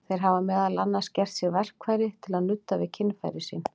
Þeir hafa meðal annars gert sér verkfæri til að nudda við kynfæri sín.